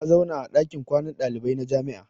Ta zauna a dakin kwanan dalibai na jami'a.